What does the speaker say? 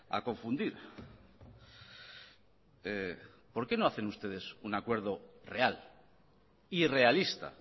a confundir por qué no hacen ustedes un acuerdo real y realista